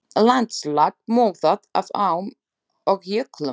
Landslag mótað af ám og jöklum.